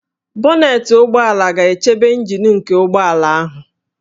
Bonetị ụgbọala ga-echebe ịnjin nke ụgbọala ahụ